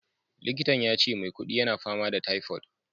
Likitan yace maukudi yana fama da typhoid.